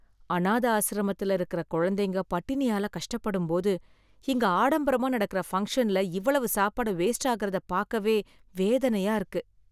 அனாத ஆசிரமத்துல இருக்கற குழந்தைங்க பட்டினியால கஷ்டப்படும்போது, இங்க ஆடம்பரமா நடக்கற ஃபங்ஷன்ல இவ்வளவு சாப்பாடு வேஸ்ட் ஆகுறத பாக்கவே வேதனையா இருக்கு.